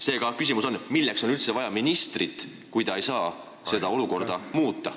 Seega, küsimus on, milleks on üldse vaja ministrit, kui ta ei saa seda olukorda muuta.